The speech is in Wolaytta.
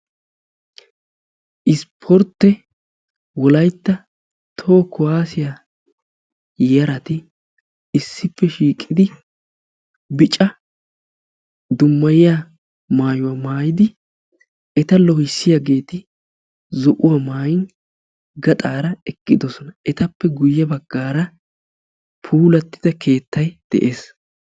Isportte wolaytta toho kuwaasiya yarati issippe shiiqidi bica dummayiya maayuwa maayidi eta loohissiyageeti zo'uwa maayin gaxaara eqqidosona. Etappe guyye baggaara puulattida keettay de'ees.